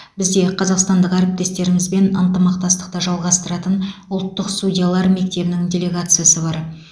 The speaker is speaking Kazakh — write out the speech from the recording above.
бізде қазақстандық әріптестерімізбен ынтымақтастықты жалғастыратын ұлттық судьялар мектебінің делегациясы бар